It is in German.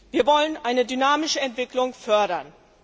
Wir wollen eine dynamische Entwicklung fördern.